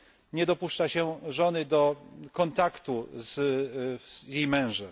Nie dopuszcza się żony do kontaktu z jej mężem.